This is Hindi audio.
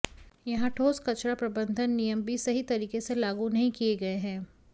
यहां ठोस कचरा प्रबंधन नियम भी सही तरीके से लागू नहीं किए गए हैं